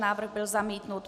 Návrh byl zamítnut.